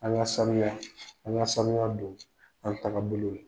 An ka saniya, an ka saniya don an tagabolo la.